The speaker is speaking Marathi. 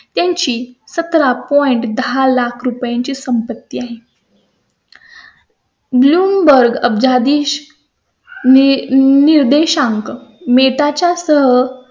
त्यांची सतरा पॉकेट दहा लाख ची संपत्ती आहे blumeburge अब्जाधीश निर्देशांका मिळताच यासह त्यांची सत्र दहा लाखांची संपत्ती आहे